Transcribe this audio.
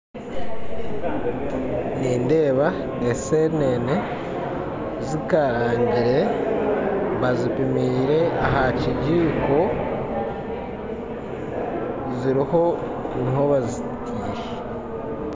Nindeba esenene zikarangire bazipimire aha kigiko, ziriho niho bazitire.